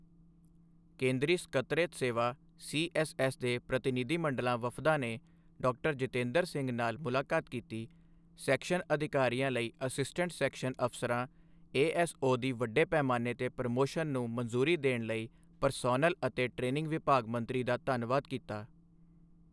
ਕੇਂਦਰੀ ਸਕੱਤਰੇਤ ਸੇਵਾ ਸੀਐੱਸਐੱਸ ਦੇ ਪ੍ਰਤੀਨਿਧੀ ਮੰਡਲਾਂ ਵਫਦਾਂ ਨੇ ਡਾ ਜਿਤੇਂਦਰ ਸਿੰਘ ਨਾਲ ਮੁਲਾਕਾਤ ਕੀਤੀ, ਸੈਕਸ਼ਨ ਅਧਿਕਾਰੀਆਂ ਲਈ ਅਸਿਸਟੈਂਟ ਸੈਕਸ਼ਨ ਅਫ਼ਸਰਾਂ ਏਐੱਸਓ ਦੀ ਵੱਡੇ ਪੈਮਾਣੇ ਤੇ ਪ੍ਰਮੋਸ਼ਨ ਨੂੰ ਮਨਜ਼ੂਰੀ ਦੇਣ ਲਈ ਪਰਸੋਨਲ ਅਤੇ ਟ੍ਰੇਨਿੰਗ ਵਿਭਾਗ ਮੰਤਰੀ ਦਾ ਧੰਨਵਾਦ ਕੀਤਾ